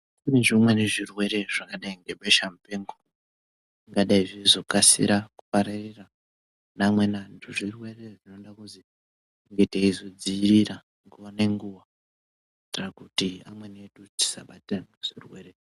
Kune zvimweni zvirwere zvikadai sebeshamupengozvingadai zveizokasira kupararire kune amweni anhu. Zvirwere zvinoda kuzi tinge teizodziirira nguwa nenguwa ,kuitira kuti amweni edu tisabata zvirwere.